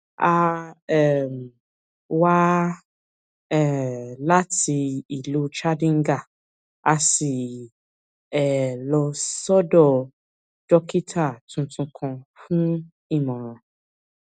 a um wá um láti ìlú chandigarh a sì um lọ sọdọ dókítà tuntun kan fún ìmọràn